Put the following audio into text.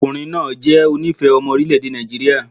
Ọkùnrin náà jẹ́ onífẹ̀ẹ́ ọmọ orílẹ̀ èdè Nàìjíríà.